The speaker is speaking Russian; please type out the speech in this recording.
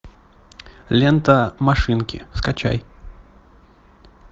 лента машинки скачай